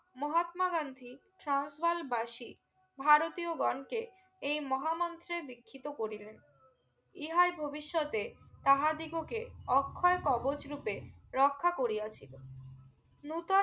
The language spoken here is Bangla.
মহাত্মা গান্ধী ট্রান্স বাল বাসি ভারতীয় গন কে এই মহা মন্ত্রে বৃক্ষিত করিলেন ইহা ভবিষ্যৎতে তাহাদিগকে অক্ষয় কবজ রুপে রক্ষা করিয়া ছিলো নতুন